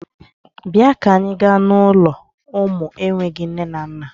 Bịa ka anyị gaa n'ụlọ ụmụ enweghi nne na nna!